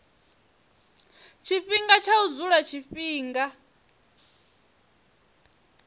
tshifhinga tsha u dzula tshifhinga